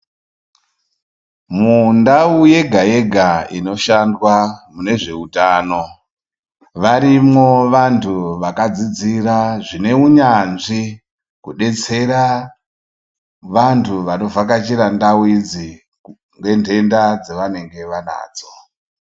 Mundau yega yega inishandwa munezveutano varumwo vantu vakadzidzira zvine unyanzvi kudetsera vantu vanovhakachira ndau idzi ngentensa dzavanenge vanadzo.